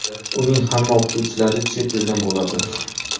Uning hamma o‘qituvchilari chet eldan bo‘ladi .